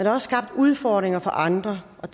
er også skabt udfordringer for andre og